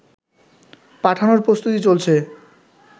পাঠানোর প্রস্তুতি চলছে